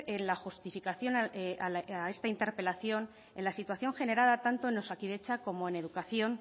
en la justificación a esta interpelación en la situación general tanto en osakidetza como en educación